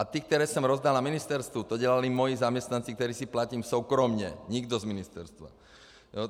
A ty, které jsem rozdal na ministerstvu, to dělali moji zaměstnanci, které si platím soukromě, nikdo z ministerstva.